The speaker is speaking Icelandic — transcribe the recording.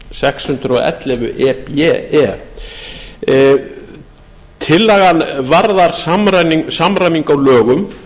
sex hundruð og ellefu e b e tillagan varðar samræmingu á lögum